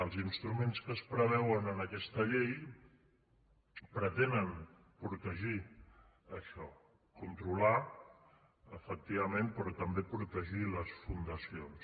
els instruments que es preveuen en aquesta llei pretenen protegir això controlar efectivament però també protegir les fundacions